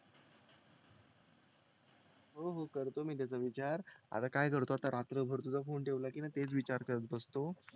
हो हो करतो मी त्याचा विचार आता काय करतो आता रात्रभर तुझा फोन ठेवला की ना तेच विचार करत बसतो